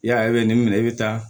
Ya nin minɛ e bɛ taa